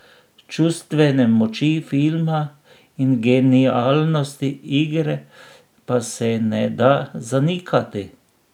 Čustvene moči filma in genialnosti igre pa se ne da zanikati.